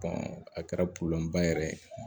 a kɛra yɛrɛ ye